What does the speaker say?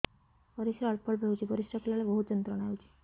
ପରିଶ୍ରା ଅଳ୍ପ ଅଳ୍ପ ହେଉଛି ପରିଶ୍ରା କଲା ବେଳେ ବହୁତ ଯନ୍ତ୍ରଣା ହେଉଛି